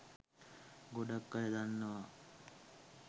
ගොඩක් අය දන්නවා